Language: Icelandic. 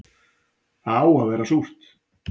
Það á að vera súrt